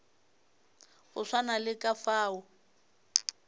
go swana le ka fao